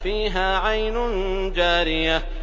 فِيهَا عَيْنٌ جَارِيَةٌ